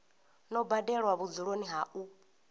no badelwa vhudzuloni ha u